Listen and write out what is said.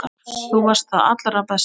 Þú varst það allra besta.